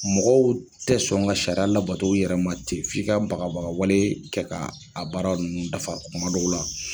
Mɔgɔw te sɔn ka sariya labato u yɛrɛma ten f'i ka bagabagawale kɛ ka a baara ninnu dafa kuma dɔw la